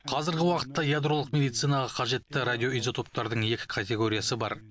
қазіргі уақытта ядролық медицинаға қажетті радиоизотоптардың екі категориясы бар